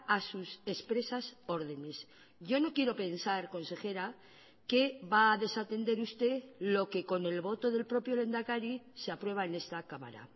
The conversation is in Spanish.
a sus expresas órdenes yo no quiero pensar consejera que va a desatender usted lo que con el voto del propio lehendakari se aprueba en esta cámara